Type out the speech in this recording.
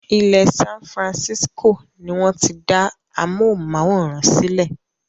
Ilẹ́ San Francisco ni wọ́n ti dá amóhùnmáwòrán sílẹ